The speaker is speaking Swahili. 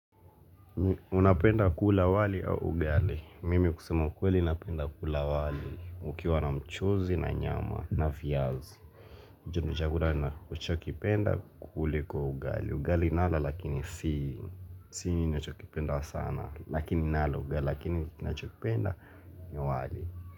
Unapenda kula wali au ugali? Mimi kusema kweli unapenda kula wali, ukiwa na mchozi, na nyama, na vyazi. Hicho ni chakula nachokipenda kuliko ugali. Ugali nala lakini sii. Si ninachokipenda sana. Lakini nala ugali. Lakini nina chokipenda, ni wali.